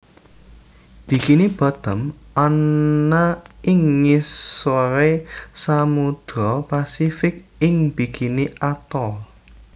Bikini Bottom ana ing ngisore Samudra Pasifik ing bikini Atoll